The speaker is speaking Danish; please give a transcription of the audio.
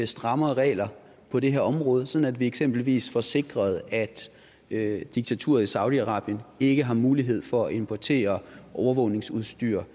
strammere regler på det her område sådan at vi eksempelvis får sikret at at diktaturet i saudi arabien ikke har mulighed for at importere overvågningsudstyr